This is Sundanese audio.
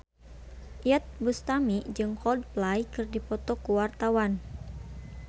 Iyeth Bustami jeung Coldplay keur dipoto ku wartawan